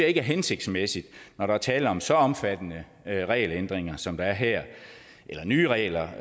ikke er hensigtsmæssigt når der er tale om så omfattende regelændringer som der er her eller nye regler